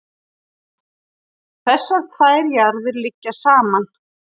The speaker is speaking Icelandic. þessar tvær jarðir liggja saman